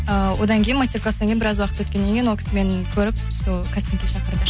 ііі одан кейін мастер класстан кейін біраз уақыт өткеннен кейін ол кісі мені көріп сол кастингке шақырды